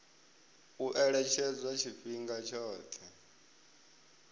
u ṅetshedzwa tshifhinga tshoṱhe tsho